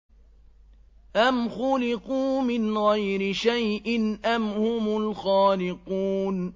أَمْ خُلِقُوا مِنْ غَيْرِ شَيْءٍ أَمْ هُمُ الْخَالِقُونَ